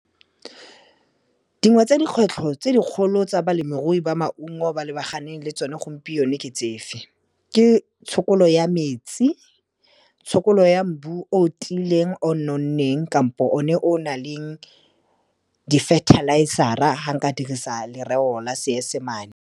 Dingwe tsa dikgwetlho tse dikgolo tsa balemirui ba maungo ba lebaganeng le tsone gompieno ke tsefe, ke tshokolo ya metsi, tshokolo ya mbu o tiileng o nonneng kampo o ne o nang le di-fertilizer-a fa nka dirisa lereo la Seesemane.